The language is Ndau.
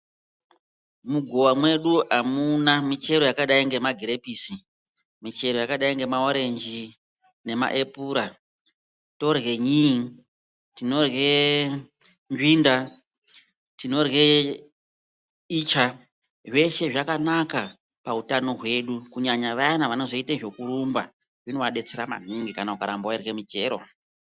Mugowa mwedu amuna micheroyakadai ngemagirepiso, michero yakadai ngemaorenji, nemaepura. Torye nyii ,tinorye nzvinda, tinorye icha. Zveshe zvakanaka pautano hwedu kunyanya vayana ,vanozoite zvekurumba zvinovadetsera maningi, ukaramba weirye michero.